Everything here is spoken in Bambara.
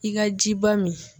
I ga ji ba min